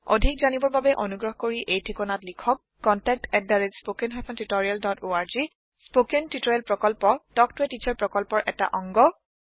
অধিক জানিবৰ বাবে অনুগ্ৰহ কৰি এই ঠিকনাত লিখক contactspoken tutorialorg স্পৌকেন টিওটৰিয়েলৰ প্ৰকল্প তাল্ক ত a টিচাৰ প্ৰকল্পৰ এটা অংগ